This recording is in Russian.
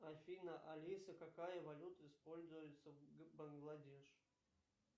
афина алиса какая валюта используется в бангладеш